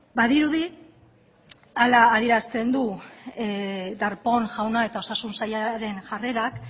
badirudi hala adierazten du darpón jaunak eta osasun sailaren jarrerak